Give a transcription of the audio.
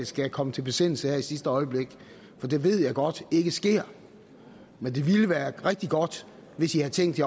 skal komme til besindelse her i sidste øjeblik for det ved jeg godt ikke sker men det ville have været rigtig godt hvis i havde tænkt